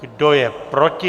Kdo je proti?